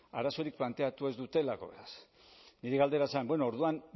arazorik planteatu ez dutelako beraz nire galdera zen bueno orduan